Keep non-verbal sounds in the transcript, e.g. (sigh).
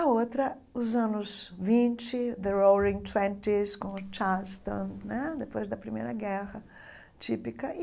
A outra, os anos vintes, (unintelligible) com o Charleston né, depois da Primeira Guerra típica.